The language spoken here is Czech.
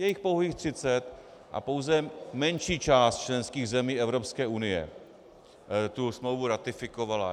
Je jich pouhých třicet a pouze menší část členských zemí Evropské unie tu smlouvu ratifikovala.